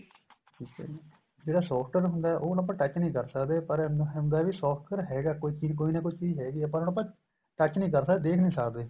ਠੀਕ ਏ ਜੀ ਜਿਹੜਾ software ਹੁੰਦਾ ਉਹ ਆਪਾਂ touch ਨੀਂ ਕਰ ਸਕਦੇ ਪਰ ਹੁੰਦਾ ਵੀ software ਹੈਗਾ ਕੋਈ ਚੀਜ਼ ਕੋਈ ਨਾ ਕੋਈ ਚੀਜ਼ ਹੈਗੀ ਏ ਪਰ ਉਹਨੂੰ ਆਪਾਂ touch ਨੀਂ ਕਰ ਸਕਦੇ ਦੇਖ ਨੀਂ ਸਕਦੇ